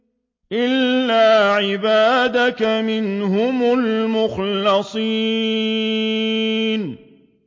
إِلَّا عِبَادَكَ مِنْهُمُ الْمُخْلَصِينَ